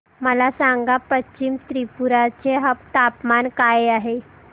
मला सांगा पश्चिम त्रिपुरा चे तापमान काय आहे